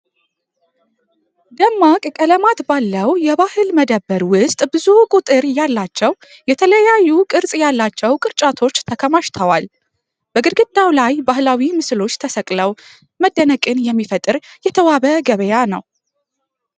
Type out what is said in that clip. ደማቅ ቀለማት ባለው የባህል መደብር ውስጥ ብዙ ቁጥር ያላቸው የተለያዩ ቅርጽ ያላቸው ቅርጫቶች ተከማችተዋል። በግድግዳው ላይ ባህላዊ ምስሎች ተሰቅለው መደነቅን የሚፈጥር የተዋበ ገበያ ነው።